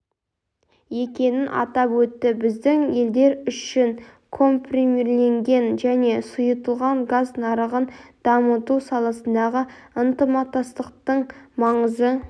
екенін атап өтті біздің елдер үшін компримирленген және сұйытылған газ нарығын дамыту саласындағы ынтымақтастықтың маңызы